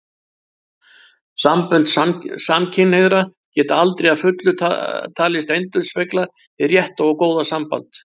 Sambönd samkynhneigðra geta aldrei að fullu talist endurspegla hið rétta og góða samband.